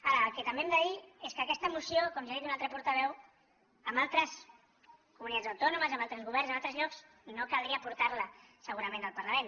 ara el que també hem de dir és que aquesta moció com ja ha dit un altre portaveu en altres comunitats autònomes amb altres governs en altres llocs no caldria porta la segurament al parlament